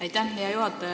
Aitäh, hea juhataja!